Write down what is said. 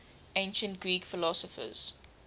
ancient greek philosophers